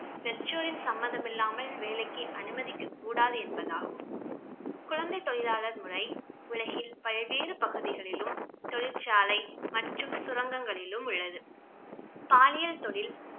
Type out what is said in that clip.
பெற்றோரின் சம்மதம் இல்லாமல் வேலைக்கு அனுமதிக்க கூடாது என்பதாகும் குழந்தை தொழிலாளர் முறை உலகில் பல்வேறு பகுதிகளிலும் தொழிற்சாலை மற்றும் சுரங்கங்களிலும் உள்ளது பாலியல் தொழில்